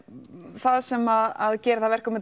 það sem að gerir það verkum að